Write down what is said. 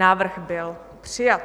Návrh byl přijat.